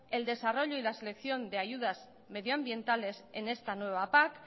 el desarrollo y la selección de ayudas medioambientales en esta nueva pac